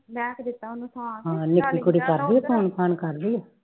ਹੈ ਨਿਕੀ ਕੁੜੀ ਕਰਦੀ phone ਫਾਨ ਕਰਦੀ